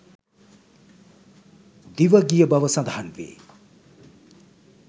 දිවගිය බව සඳහන්වේ.